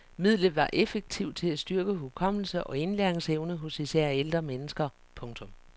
Midlet var effektivt til at styrke hukommelse og indlæringsevne hos især ældre mennesker. punktum